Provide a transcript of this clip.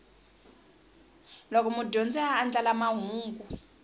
loko mudyondzi a andlala mahungu